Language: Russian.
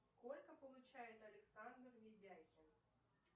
сколько получает александр ведяхин